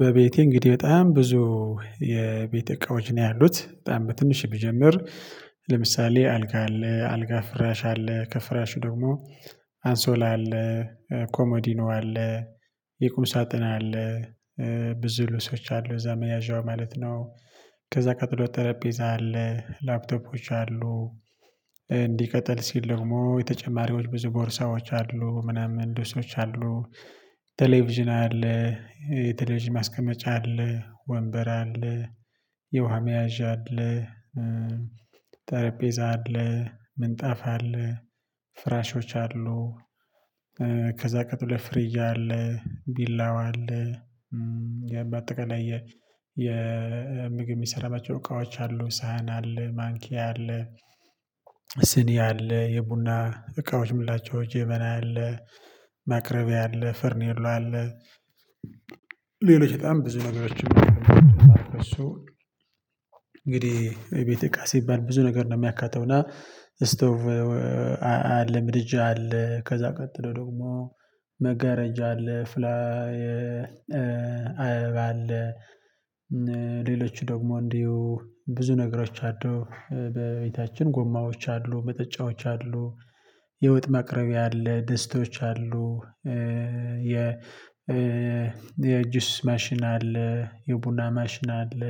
በቤቴ እንግዲህ በጣም ብዙ የቤት እቃዎች ነው ያሉት በጣም በትንሽ ብጀምር። ለምሳሌ አልጋ አለ አልጋ ፍራሽ አለ ከፍራሹ ደግሞ አንሶላ አለ ኮሞዲኖ አለ የቁም ሳጥን አለ ብዙ ልብሶች አሉ እዛ መያዣው ማለት ነው። ከዛ ቀጥሎ ጠረጴዛ አለ ላፕቶፖች አሉ። እንዲቀጥል ሲል ደግሞ የተጨማሪዎች ብዙ ቦርሳዎች አሉ ምናምን ድስቶች አሉ ቴሌቪዥን አለ ቴሌቪዥን ማስቀመጫ አለ ወንበር አለ የውሃ መያዣ አለ። ጠረጴዛ አለ ምንጣፍ አለ ፍራሾች አሉ። ከዛ ቀጥሎ ፍሪጅ አለ ቢላዋ አለ። ባጠቃላይ የ የምግብ የሚሰራባቸው እቃዎች አሉ ሳህን አለ ማንኪያ አለ። ስኒ አለ የቡና እቃዎች የምላቸው ጀበና አለ ማቅረቢያ አለ ፈርሜሎ አለ። ሌሎች በጣም ብዙ ነገሮች እንግዲህ የቤት እቃ ሲባል ብዙ ነገር ነው የሚያካተውና ስቶቭ። አለ ምድጃ አለ ከዛ ቀጥሎ ደግሞ መጋረጃ አለ ፍላ አለ። ሌሎች ደግሞ እንዲሁ ብዙ ነገሮች አሉ። በቤታችን ጎማዎች አሉ መጠጫዎች የወጥ መቅረቢያ አለ ደስቶች አሉ። የ የእጁስ ማሽን አለ የቡና ማሽን አለ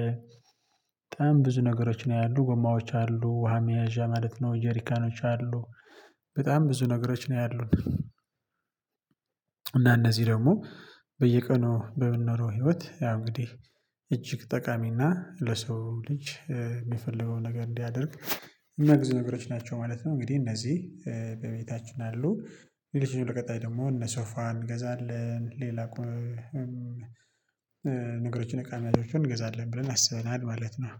በጣም ብዙ ነገሮች ነው ያሉ ጎማዎች አሉ ውሃ መያዣ ማለት ነው ጄሪካኖች አሉ። በጣም ብዙ ነገሮች ነው ያሉት። እና እነዚህ ደግሞ በየቀኑ በምንኖረው ህይወት ያው እንግዲህ እጅግ ጠቃሚና ለሰው ልጅ የሚፈልገው ነገር እንዲያደርግ እሚያግዙ ነገሮች ናቸው ማለት ነው። እንግዲህ እነዚህ በቤታችን አሉ። የልጅን ሁለት ቀጣይ ደግሞ እነ ሶፋን እንገዛለን ሌላ ቁም ነገሮችን እቃዎችን እንገዛለን ብለን አስበናል ማለት ነው